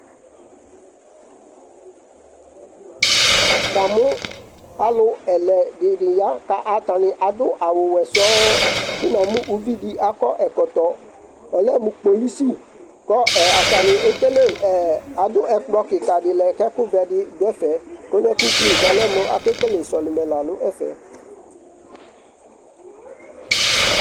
Namʋ alʋ ɛlɛdidi ya ka atani adʋ awʋ wɛ sɔŋ kʋ namʋ uvidi akɔ ɛkɔtɔ ɔlɛmʋ kpolusi kɔ atani ekele ɛ adʋ ɛkplɔ kikadi lɛ k'ɛkʋvɛdi dʋ ɛfɛ kɔlɛ k'ugli k'ɔlɛmʋ akele sɔlimɛ lanʋ ɛfɛ